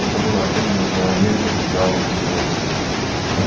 это было особенно заметно когда он смеялся